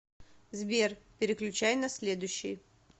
сбер переключай на следующий